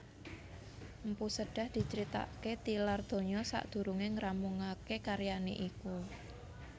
Mpu Sedah dicritakaké tilar donya sadurungé ngrampungaké karyané iku